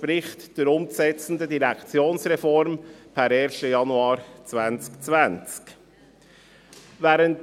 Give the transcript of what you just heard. Er entspricht der umzusetzenden Direktionsreform per 1. Januar 2020.